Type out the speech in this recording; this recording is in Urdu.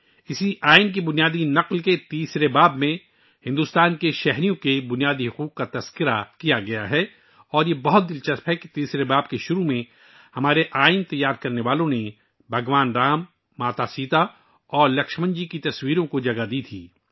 اسی دستور کی اصل کاپی کے تیسرے حصے میں بھارت کے شہریوں کے بنیادی حقوق بیان کیے گئے ہیں اور یہ بات قابل ذکر ہے کہ تیسرے حصے کے آغاز میں ہمارے دستور سازوں نے بھگوان رام، ماتا سیتا اور لکشمن جی کی تصویروں کو مناسب جگہ دی تھی